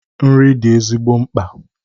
Nri dị ezigbo mkpa